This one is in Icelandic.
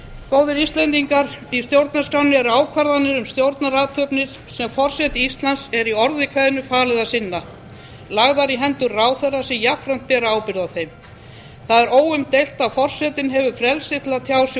góðir íslendingar í stjórnarskránni er ákvarðanir um stjórnarathafnir sem forseta íslands er í orði kveðnu falið að sinna lagðar í hendur ráðherra sem jafnframt bera ábyrgð á þeim það er óumdeilt að forsetinn hefur frelsi til að tjá sig